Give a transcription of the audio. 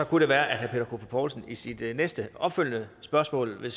det være at herre peter poulsen i sit næste opfølgende spørgsmål vil